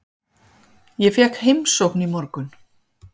Ég fékk heimsókn í morgun.